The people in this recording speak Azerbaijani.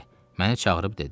Məni çağırıb dedi.